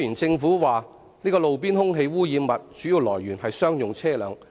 政府指路邊空氣污染物的主要來源是商用車輛。